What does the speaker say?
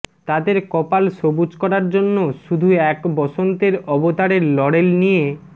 তাদের কপাল সবুজ করার জন্য শুধু এক বসন্তের অবতারের লরেল নিয়ে